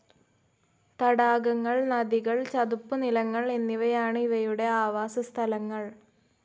തടാകങ്ങൾ, നദികൾ, ചതുപ്പ് നിലങ്ങൾ എന്നിവയാണ് ഇവയുടെ ആവാസ സ്ഥലങ്ങൾ.